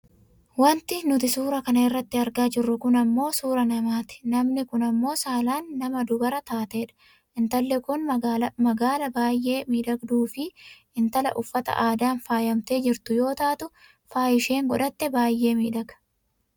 wanti nuti suuraa kana irratti argaa jirru kun ammoo suuraa namaati. namni kun ammoo saalaan nama dubara taatedha, intalli kun magaala baayyee miidhagduufi intala uffata aadan faayamtee jirtu yoo taatu faayi isheen godhatte baayyee miidhaga.